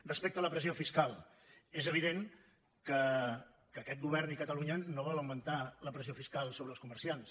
respecte a la pressió fiscal és evident que aquest govern i catalunya no volen augmentar la pressió fiscal sobre els comerciants